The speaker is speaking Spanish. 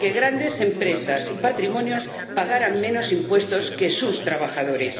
que grandes empresas y patrimonios pagaran menos impuestos que sus trabajadores.